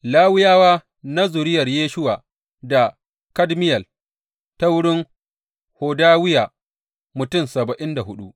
Lawiyawa na zuriyar Yeshuwa da Kadmiyel ta wurin Hodawiya mutum saba'in da hudu.